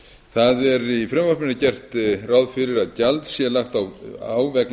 það er í frumvarpinu gert ráð fyrir að gjald sé lagt á vegna